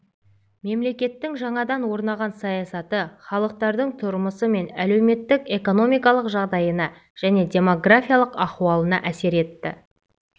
мемлекеттің жаңадан орнаған саясаты халықтардың тұрмысы мен әлеуметтік-экономикалық жағдайына және демографиялық ахуалына әсер етті